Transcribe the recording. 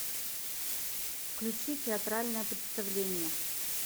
включи театральное представление